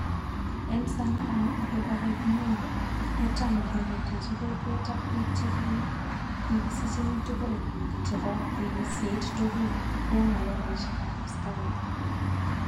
En sanamu ikopare kinyoru, kotam kerutechi kokwet ak pik che kikisicheng tugul ak chepo keyiseit tugul kou malakaishek ab askarik.